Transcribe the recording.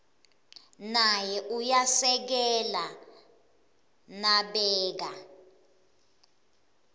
naye uyasekela nabeka